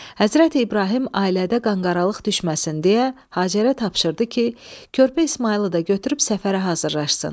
Həzrəti İbrahim ailədə qanqaralıq düşməsin deyə Hacərə tapşırdı ki, körpə İsmayılı da götürüb səfərə hazırlaşsın.